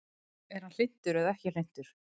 Er hann hlynntur eða ekki hlynntur?